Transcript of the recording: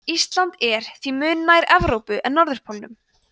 ísland er því mun nær evrópu en norðurpólnum